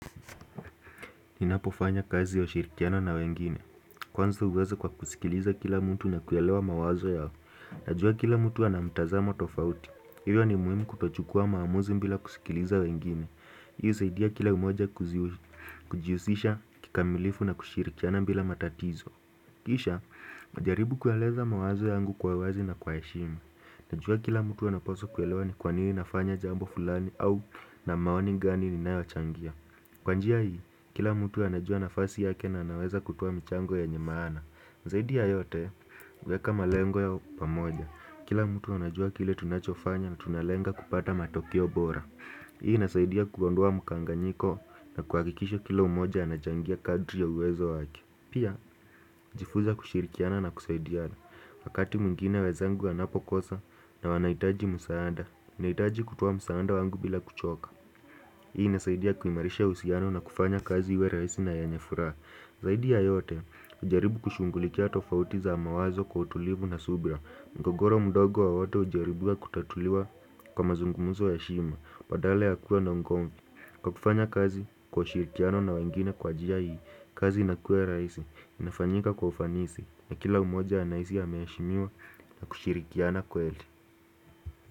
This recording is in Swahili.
Ninapofanya kazi wa ushirikiano na wengine. Kwanza uweza kwa kusikiliza kila mtu na kuelewa mawazo yao. Najua kila mtu anamtazamo tofauti. Hiyo ni muhimu kutochukua maamuzi mbila kusikiliza wengine. Hii husaidia kila umoja kujiusisha kikamilifu na kushirikiana mbila matatizo. Kisha, najaribu kueleza mawazo yangu kwawezi na kwaeshimi. Najua kila mtu anaposwa kuelewa ni kwanini nafanya jambl fulani au na maoni gani ni nayo wachangia. Kwanjia hii, kila mtu anajua na fasi yake na anaweza kutoa mchango yenyemana zaidi ya yote, weka malengo yao pamoja Kila mtu anajua kile tunachofanya na tunalenga kupata matokio bora Hii inasaidia kuondoa mkanganyiko na kuhakikisha kila umoja anachangia kadri ya uwezo wake pia, hujifunza kushirikiana na kusaidiana Wakati mwingine wezangu wanapokosa na wanaitaji musaada Naitaji kutoa musaanda wangu bila kuchoka Hii inasaidia kuimarisha uhusiano na kufanya kazi iwe raisi na yenye furaha Zaidi ya yote ujaribu kushungulikia tofautiza mawazo kwa utulivu na subra Ngogoro mdogo wa wote ujaribiwa kutatuliwa kwa mazungumuzo ya heshima Badala ya kuwa na ugomvi Kwa kufanya kazi kwa ushirikiano na wengine kwa jia hii kazi inakuwa raisi inafanyika kwa ufanisi na kila umoja anaisi ameheshimiwa na kushirikiana kweli.